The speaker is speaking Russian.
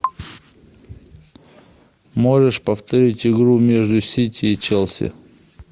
можешь повторить игру между сити и челси